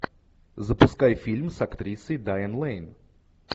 запускай фильм с актрисой дайан лэйн